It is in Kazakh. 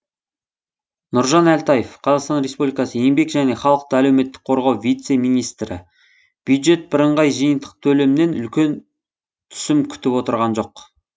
нұржан әлтаев қазақстан республикасы еңбек және халықты әлеуметтік қорғау вице министрі бюджет бірыңғай жиынтық төлемнен үлкен түсім күтіп отырған жоқ